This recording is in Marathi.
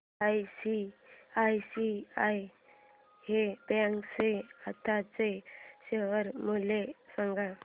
आयसीआयसीआय बँक चे आताचे शेअर मूल्य सांगा